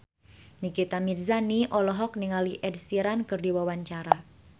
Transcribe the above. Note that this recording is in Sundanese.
Nikita Mirzani olohok ningali Ed Sheeran keur diwawancara